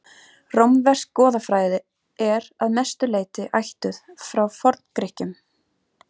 rómversk goðafræði er að langmestu leyti ættuð frá forngrikkjum